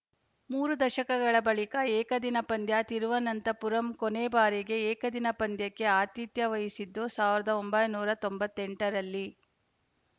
ಮೂರು ದಶಕಗಳ ಬಳಿಕ ಏಕದಿನ ಪಂದ್ಯ ತಿರುವನಂತಪುರಂ ಕೊನೆ ಬಾರಿಗೆ ಏಕದಿನ ಪಂದ್ಯಕ್ಕೆ ಆತಿಥ್ಯ ವಹಿಸಿದ್ದು ಸಾವಿರದ ಒಂಬೈನೂರ ತೊಂಬತ್ತ್ ಎಂಟರಲ್ಲಿ